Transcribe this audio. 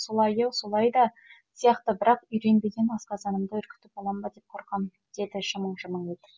солайы солай да сияқты бірақ үйренбеген асқазанымды үркітіп алам ба деп қорқам деді жымың жымың етіп